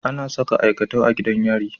Anasa aikatau a gidan yari